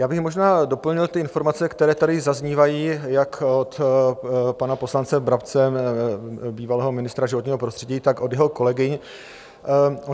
Já bych možná doplnil ty informace, které tady zaznívají jak od pana poslance Brabce, bývalého ministra životního prostředí, tak od jeho kolegyň.